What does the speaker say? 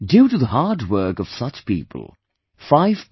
Due to the hard work of such people, 5